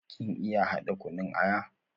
Kin iya hada kunun aya?